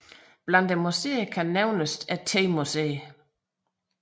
Blandt museerne kan især nævnes temuseet